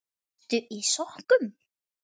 Ertu í sokkum?